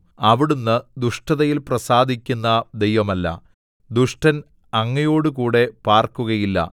അവിടുന്ന് ദുഷ്ടതയിൽ പ്രസാദിക്കുന്ന ദൈവമല്ല ദുഷ്ടൻ അങ്ങയോടുകൂടി പാർക്കുകയില്ല